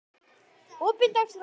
opin dagskrá